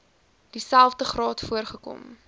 dieselfde graad voorgekom